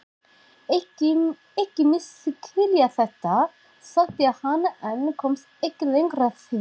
Ekki misskilja þetta, sagði hann en komst ekki lengra því